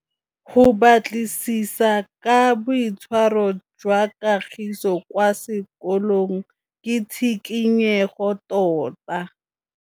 Go batlisisa ka boitshwaro jwa Kagiso kwa sekolong ke tshikinyêgô tota.